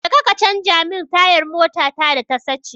Jeka ka canja min tayar motata da ta sace.